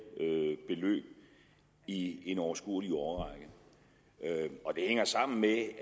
beløb i en overskuelig årrække det hænger sammen med at